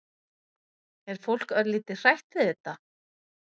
Er fólk örlítið hrætt við þetta?